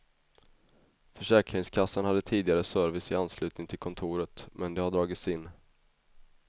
Försäkringskassan hade tidigare service i anslutning till kontoret men det har dragits in.